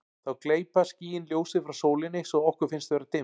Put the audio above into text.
þá gleypa skýin ljósið frá sólinni svo að okkur finnst vera dimmt